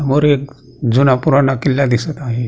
वर एक जुनापुराणा किल्ला दिसत आहे.